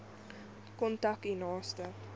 kontak u naaste